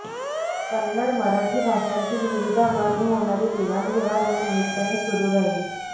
कन्नड मराठी भाषांतील विविध अंगांनी होणारी देवाण घेवाण या निमित्ताने सुरू राहिली